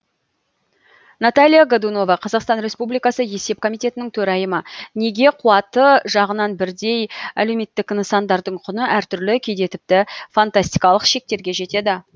наталья годунова қазақстан республикасы есеп комитетінің төрайымы неге қуаты жағынан бірдей әлеуметтік нысандардың құны әртүрлі кейде тіпті фантастикалық шектерге жетеді